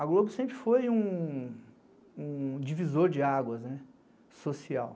A Globo sempre foi um divisor de águas social.